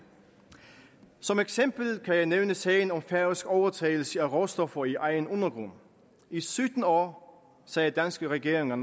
som eksempel kan jeg nævne sagen om færøsk overtagelse af råstoffer i egen undergrund i sytten år sagde danske regeringer